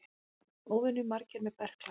Óvenju margir með berkla